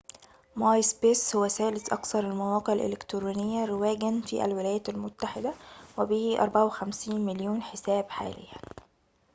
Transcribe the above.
ماي سبيس هو ثالث أكثر المواقع الإلكترونيّة رواجاً في الولايات المتّحدة وبه 54 مليون حساب حالياً